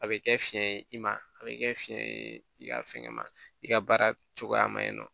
A bɛ kɛ fiyɛn ye i ma a bɛ kɛ fiɲɛ ye i ka fɛnkɛ ma i ka baara cogoya maɲin nɔ